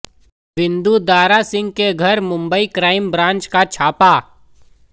विंदु दारा सिंह के घर Mumbai crime branch का छापा